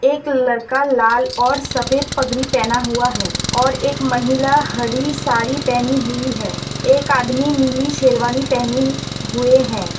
एक लड़का लाल और सफेद पगड़ी पहना हुआ है और एक महिला हरी साड़ी पहनी हुई है एक आदमी नीली शेरवानी पहनी हुए है।